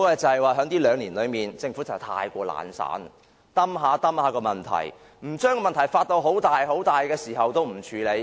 就是在這兩年間，政府過於懶散，只是一拖再拖，問題一天未發大，他們也不會處理。